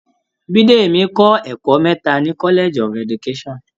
Bìdèmí kọ́ ẹ̀kọ́ mẹ́ta ní College of education.